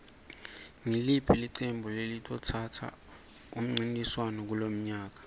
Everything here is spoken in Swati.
iliphi iqembu elizothatha umncintiswano kulonyaka